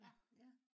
ja